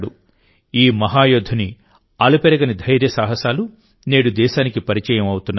ఈ మహాయోధుని అలుపెరగని ధైర్యసాహసాలు నేడు దేశానికి పరిచయం అవుతున్నాయి